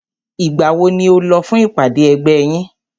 Ìgbà wo ni o lọ fún ìpàdé ẹgbẹ́ yín?